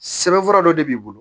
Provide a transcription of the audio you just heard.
Sɛbɛnfura dɔ de b'i bolo